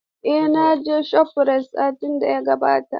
Eh, na je shofrayit satin da ya gabata.